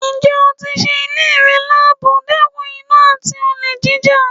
Ǹjẹ́ ó tí sé ilé rẹ̀ labò, dẹkùn iná àti olè jíjà?